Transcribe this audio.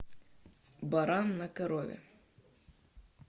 баран на корове